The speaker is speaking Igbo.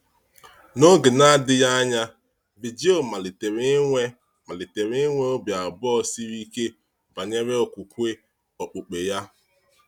N’oge na-adịghị anya, Virgil malitere inwe malitere inwe obi abụọ siri ike banyere okwukwe okpukpe ya.